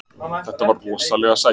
Þetta var rosalega sætt.